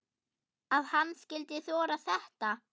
Að hann skyldi þora þetta!